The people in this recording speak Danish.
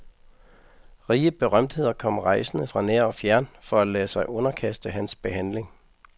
Rige berømtheder kom rejsende fra nær og fjern for at lade sig underkaste hans behandling.